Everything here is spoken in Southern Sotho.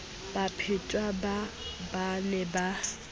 baphetwa baa ba ne ba